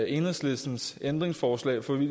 enhedslistens ændringsforslag for vi